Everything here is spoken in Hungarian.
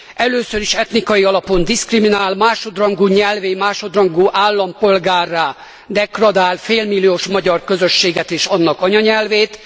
Először is etnikai alapon diszkriminál, másodrangú nyelvvé, másodrangú állampolgárrá degradál félmilliós magyar közösséget és annak anyanyelvét.